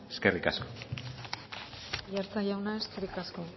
eskerrik asko aiartza jauna eskerrik asko